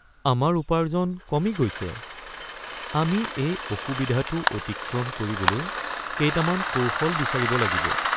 আমাৰ উপাৰ্জন কমি গৈছে! আমি এই অসুবিধাটো অতিক্ৰম কৰিবলৈ কেইটামান কৌশল বিচাৰিব লাগিব।